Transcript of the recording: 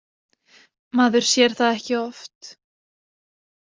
Maður sér það ekki oft.